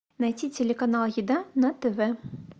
найти телеканал еда на тв